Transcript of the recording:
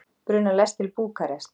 Brunar lest til Búkarest